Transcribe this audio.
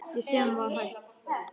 Ég sem var hætt.